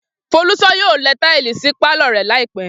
Folús̩ó̩ yóò le̩ táìlì sí pálò̩ rè̩ láì pé̩